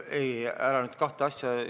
Ei, ära nüüd kahte asja ...